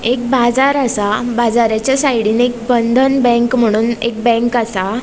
एक बाजार आसा बाज़राच्या साइडीन एक बंधन बँक म्हणोन एक बँक आसा.